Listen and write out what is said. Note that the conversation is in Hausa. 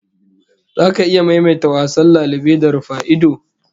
Zaka iya maimaita wasan lalube da rufa-ido?